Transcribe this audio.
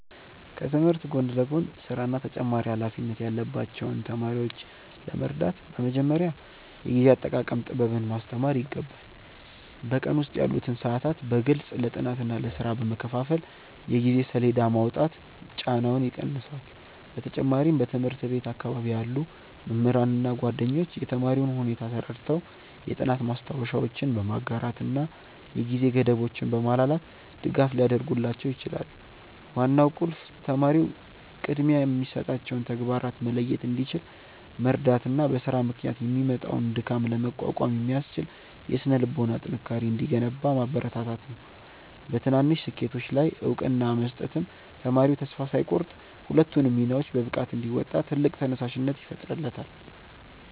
ከትምህርት ጎን ለጎን ሥራና ተጨማሪ ኃላፊነት ያለባቸውን ተማሪዎች ለመርዳት በመጀመሪያ የጊዜ አጠቃቀም ጥበብን ማስተማር ይገባል። በቀን ውስጥ ያሉትን ሰዓታት በግልጽ ለጥናትና ለሥራ በመከፋፈል የጊዜ ሰሌዳ ማውጣት ጫናውን ይቀንሰዋል። በተጨማሪም በትምህርት ቤት አካባቢ ያሉ መምህራንና ጓደኞች የተማሪውን ሁኔታ ተረድተው የጥናት ማስታወሻዎችን በማጋራትና የጊዜ ገደቦችን በማላላት ድጋፍ ሊያደርጉላቸው ይችላሉ። ዋናው ቁልፍ ተማሪው ቅድሚያ የሚሰጣቸውን ተግባራት መለየት እንዲችል መርዳትና በሥራ ምክንያት የሚመጣውን ድካም ለመቋቋም የሚያስችል የሥነ-ልቦና ጥንካሬ እንዲገነባ ማበረታታት ነው። በትናንሽ ስኬቶች ላይ እውቅና መስጠትም ተማሪው ተስፋ ሳይቆርጥ ሁለቱንም ሚናዎች በብቃት እንዲወጣ ትልቅ ተነሳሽነት ይፈጥርለታል።